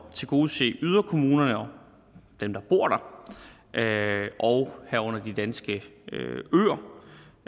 tilgodese yderkommunerne og dem der bor der og herunder de danske